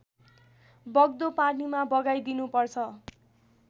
बग्दो पानीमा बगाइदिनुपर्छ